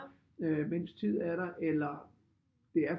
Øh mens tid er der eller det er